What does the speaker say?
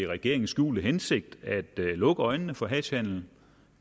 regerings skjulte hensigt at lukke øjnene for hashhandelen